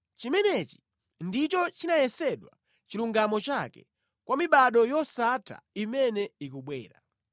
Chimenechi ndicho chinayesedwa chilungamo chake, kwa mibado yosatha imene ikubwera.